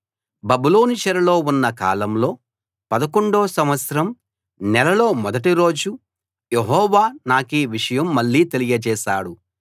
బబులోను చెరలో ఉన్న కాలంలో పదకొండో సంవత్సరం నెలలో మొదటి రోజు యెహోవా నాకీ విషయం మళ్ళీ తెలియచేశాడు